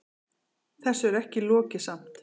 Þessu er ekki lokið samt.